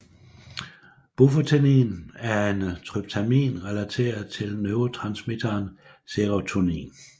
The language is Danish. Bufotenin er en tryptamin relateret til neurotransmitteren serotonin